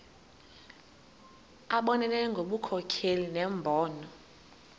abonelele ngobunkokheli nembono